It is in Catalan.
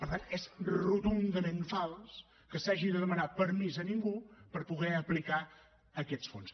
per tant és rotundament fals que s’hagi de demanar permís a ningú per poder aplicar aquests fons